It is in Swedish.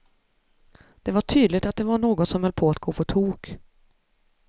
Det var tydligt att det var något som höll på att gå på tok.